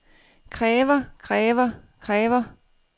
kræver kræver kræver